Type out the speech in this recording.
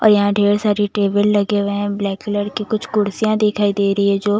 और यहाँ ढेर सारी टेबल लगे हुए हैं ब्लैक कलर की कुछ कुर्सियाँ दिखाई दे रही है जो--